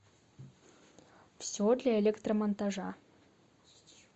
все для электромонтажа